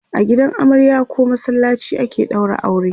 a gidan amarya koh masallaci ake ɗaura aure